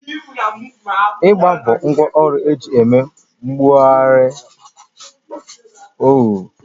Igba bụ ngwá ọrụ eji eme gburugburu oghere